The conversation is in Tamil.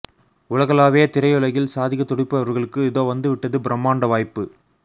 உலகளாவிய திரையுலகில் சாதிக்க துடிப்பவர்களுக்கு இதோ வந்து விட்டது பிரம்மாண்ட வாய்ப்பு